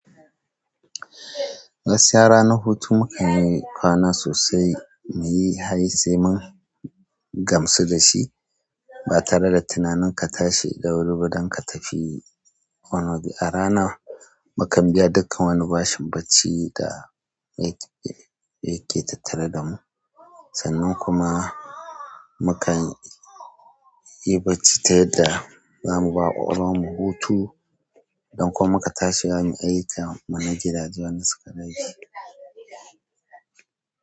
Gaskiya ranar hutu muka yi kwana sosai, muyi haye sai mun gamsu dashi, ba tare da tunanin ka tashi da wuri ba don ka tafi wani waje. A rana, mukan biya dukkan wani bashin bacci da yake tattare da mu. Sannan kuma mukan yi bacci ta yadda zamu ba ƙwakwalwan mu hutu, don kuma ka tashi ka yi ayyukan mu na gadaje wanda suka rage.